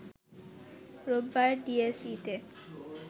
রোববার ডিএসইতে